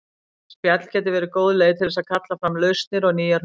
Spjall getur verið góð leið til þess að kalla fram lausnir og nýjar hugmyndir.